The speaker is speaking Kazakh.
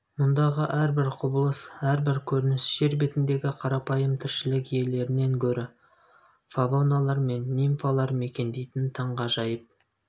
мұндағы әрбір құбылыс әрбір көрініс жер бетіндегі қарапайым тіршілік иелерінен гөрі фавоналар мен нимфалар мекендейтін таңғажайып